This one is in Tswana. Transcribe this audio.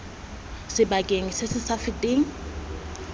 sebaka se se sa feteng